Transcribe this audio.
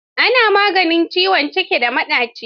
Ana yin maganin ciwon ciki da maɗaci.